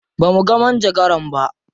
Ba muga manjagaran ba.